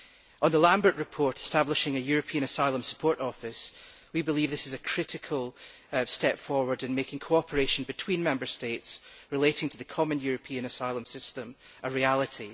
On the Lambert report establishing a European Asylum Support Office, we believe this is a critical step forward in making cooperation between Member States relating to the common European asylum system a reality.